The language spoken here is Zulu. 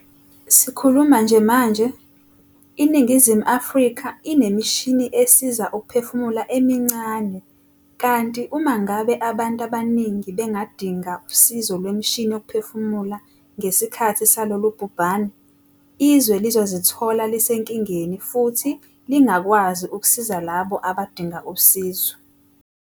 Sikhuluma nje manje, iNingizimu Afrika inemishini esiza ukuphefumula emincane kanti uma ngabe abantu abaningi bengadinga usizo lwemishini yokuphefumula ngesikhathi salolu bhubhane, izwe lizozithola lisenkingeni futhi lingakwazi ukusiza labo abadinga usizo.